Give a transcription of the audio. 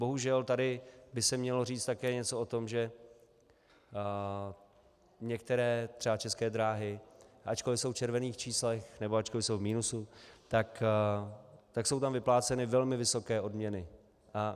Bohužel, tady by se mělo říct také něco o tom, že některé, třeba České dráhy, ačkoli jsou v červených číslech, nebo ačkoli jsou v minusu, tak jsou tam vypláceny velmi vysoké odměny.